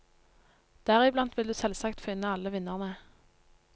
Deriblant vil du selvsagt finne alle vinnerne.